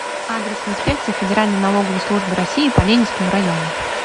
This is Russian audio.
адрес инспекция федеральной налоговой службы россии по ленинскому району